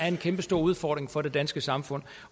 en kæmpestor udfordring for det danske samfund